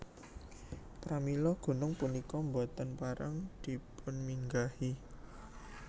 Pramila gunung punika boten pareng dipunminggahi